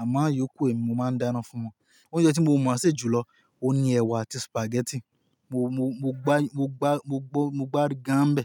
Àmọ́ ìyókù èmi, mo máa ń dáná fún wọn. Oúnjẹ tí mo mọ̀ sè jù lọ, òun ni ẹwà àti spaghetti. Mo, mo, mo gbá, mo gbá, mo gbọ́, mo gbá gáńbẹ.